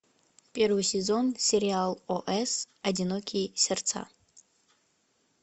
первый сезон сериал ос одинокие сердца